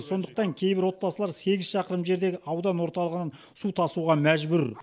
сондықтан кейбір отбасылар сегіз шақырым жердегі аудан орталығынан су тасуға мәжбүр